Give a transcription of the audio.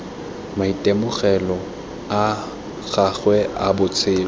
maitemogelo a gagwe a botshelo